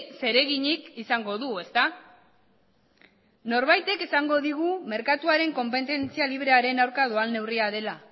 zer eginik izango du ezta norbaitek esango digu merkatuaren konpetentzia librearen aurka doan neurria dela